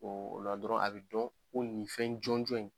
O o la dɔrɔn a bɛ dɔn ko nin fɛn jɔnjɔn in.